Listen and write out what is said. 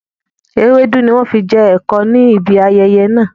Ewédú ni wọn fi jẹ ẹ̀kọ níbi ayẹyẹ náà